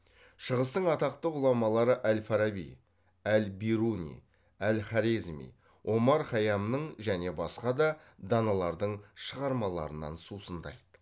шығыстың атақты ғұламалары әл фараби әл бируни әл хорезми омар хайямның және басқа да даналардың шығармаларынан сусындайды